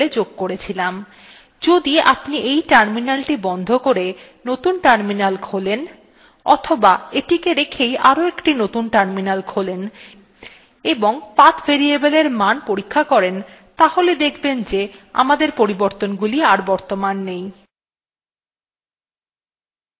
যদি আপনি এই terminal বন্ধ করে নতুন terminal খোলেন অথবা এটিকে রেখেই আরোএকটি নতুন terminal খোলেন এবং path variable এর মান পরীক্ষা করেন